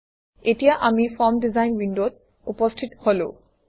এতিয়া আমি form design উইণ্ডত উপস্থিত হলো